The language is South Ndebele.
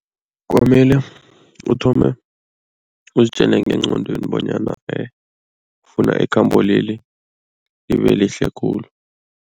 Kwamele uthome uzitjele ngengqondweni bonyana ufuna ikhambo leli libelihle khulu.